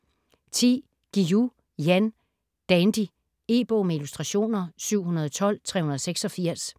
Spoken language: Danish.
Guillou, Jan: Dandy E-bog med illustrationer 712386